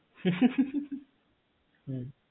হু হুহুহু